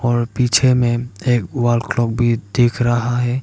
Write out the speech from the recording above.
और पीछे में एक वॉल क्लॉक भी देख रहा है।